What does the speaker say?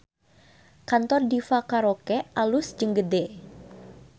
Kantor Diva Karaoke alus jeung gede